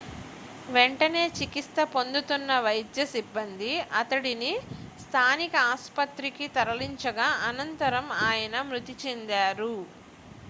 వెంటనే చికిత్స పొందుతున్న వైద్య సిబ్బంది అతడిని స్థానిక ఆస్పత్రికి తరలించగా అనంతరం ఆయన మృతి చెందారు